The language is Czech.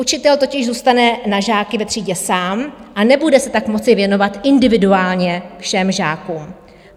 Učitel totiž zůstane na žáky ve třídě sám a nebude se tak moci věnovat individuálně všem žákům.